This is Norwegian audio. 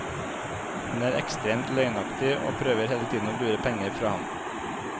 Hun er ekstremt løgnaktig og prøver hele tiden å lure penger fra ham.